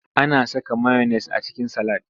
Ana saka mayones a cikin salad.